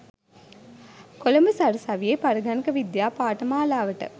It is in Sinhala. කොළඹ සරසවියේ පරිගණක විද්‍යා පාඨමාලාවට